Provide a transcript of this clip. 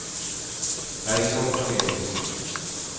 Bergliot Korneliussen